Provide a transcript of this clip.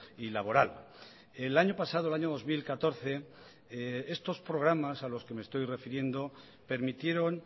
y laboral el año pasado el año dos mil catorce estos programas a los que me estoy refiriendo permitieron